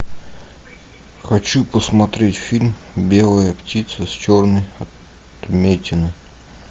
хочу посмотреть фильм белая птица с черной отметиной